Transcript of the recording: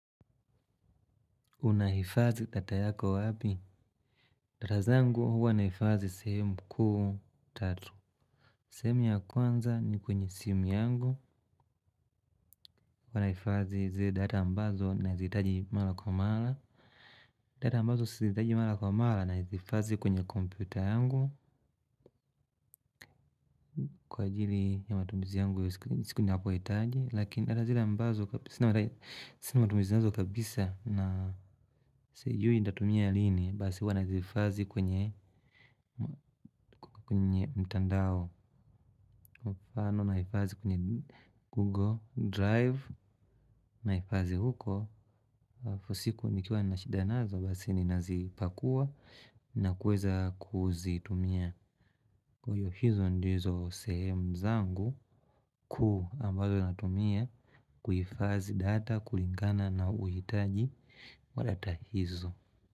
Unaifadhi data yako wapi? Data zangu huwa naifadhi sehemu kuu tatu. Sehemu ya kwanza ni kwenye simu yangu. Hapa naifadhi zile data ambazo nazihitaji mara kwa mara, data ambazo sizihitaji mara kwa mara nazihifadhi kwenye kompyuta yangu kwa ajili ya matumizi yangu ya siku ninapohitaji sina matumizi nazo kabisa na sijui nitatumia lini basi huwa nazihifadhi kwenye mtandao kwa mfano nahifadhi kwenye Google Drive. Naifazi huko, fosiku nikiwa nashida nazo basi ninazipakua na kuweza kuzitumia kwa hiyo hizo ndizo sehemu zangu kuu ambayo natumia kuifadhi data kulingana na uhitaji wa data hizo.